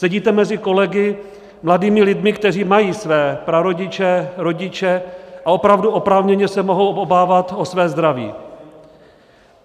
Sedíte mezi kolegy, mladými lidmi, kteří mají své prarodiče, rodiče a opravdu oprávněně se mohou obávat o své zdraví.